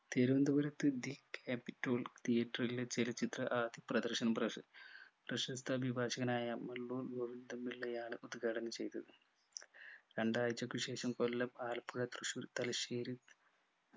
തിരുവനന്തപുരത്തു the capitol theatre ലെ ചലച്ചിത്ര ആദ്യ പ്രദർശനം പ്രശസ്‌ പ്രശസ്ത അഭിഭാഷകനായ മുള്ളൂർ ഗോവിന്ദൻ പിള്ളയാണ് പൊതു ചടങ്ങു ചെയ്തത് രണ്ടാഴ്ചക്കു ശേഷം കൊല്ലം ആലപ്പുഴ തൃശൂർ തലശ്ശേരി